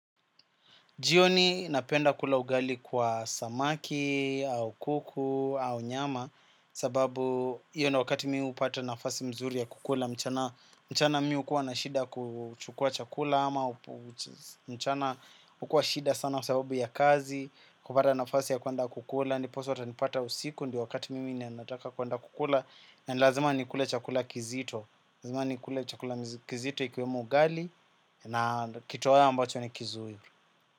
Jioni napenda kula ugali kwa samaki, au kuku, au nyama sababu hiyo ni wakati mimi hupata nafasi mzuri ya kukula mchana mimi hukuwa na shida kuchukua chakula ama mchana hukuwa shida sana sababu ya kazi kupata nafasi ya kuenda kukula ndiposa hautanipata usiku ndio wakati mimi ninanataka kuenda kukula na ni lazima nikule chakula kizito ni lazima nikule chakula kizito ikiwemo ugali na ni kitoweo ambacho ni kizuri.